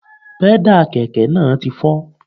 Pẹ́dà kẹ̀kẹ́ náà ti fọ́